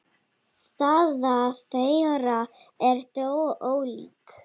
Staða þeirra er þó ólík.